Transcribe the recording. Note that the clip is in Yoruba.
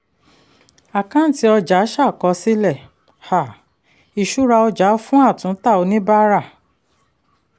àkáǹtì ọjà ṣàkọsílẹ̀ um ìṣúra ọjà fún atúntà oníbàárà.